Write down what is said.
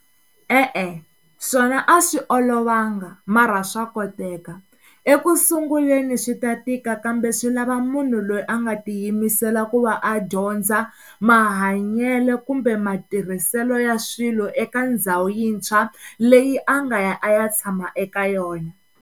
E-e, swona a swi olovanga mara swa koteka ekusunguleni swi ta tika kambe swi lava munhu loyi a nga tiyimisela ku va a dyondza mahanyelo kumbe matirhiselo ya swilo eka ndhawu yintshwa leyi a nga ya a ya tshama eka yona.